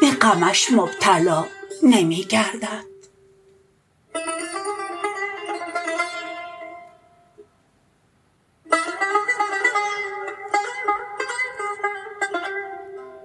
به غمش مبتلا نمی گردد